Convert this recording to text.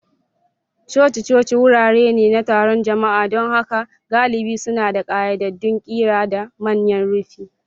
Coci-coci wurare ne na taron jama'a, don haka galibi suna da ƙayyadaddun ƙira da manyan rufi.